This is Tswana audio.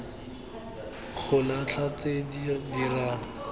go latlha tse di dirang